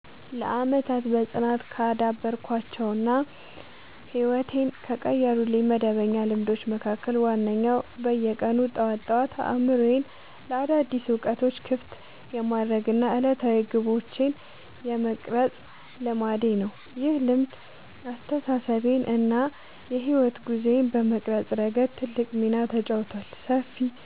ለዓመታት በጽናት ካዳበርኳቸው እና ሕይወቴን ከቀየሩልኝ መደበኛ ልማዶች መካከል ዋነኛው በየቀኑ ጠዋት ጠዋት አእምሮዬን ለአዳዲስ እውቀቶች ክፍት የማድረግ እና ዕለታዊ ግቦቼን የመቅረጽ ልማዴ ነው። ይህ ልማድ አስተሳሰቤን እና የሕይወት ጉዞዬን በመቅረጽ ረገድ ትልቅ ሚና ተጫውቷል፦ ሰፊ